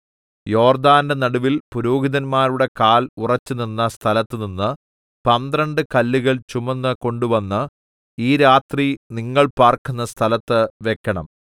യോർദ്ദാന്റെ നടുവിൽ പുരോഹിതന്മാരുടെ കാൽ ഉറച്ചുനിന്ന സ്ഥലത്തുനിന്ന് പന്ത്രണ്ട് കല്ലുകൾ ചുമന്നു കൊണ്ടുവന്ന് ഈ രാത്രി നിങ്ങൾ പാർക്കുന്ന സ്ഥലത്ത് വെക്കണം